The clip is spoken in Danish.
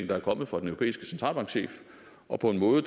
der er kommet fra den europæiske centralbankchef og på en måde